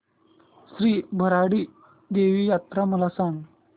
श्री भराडी देवी यात्रा मला सांग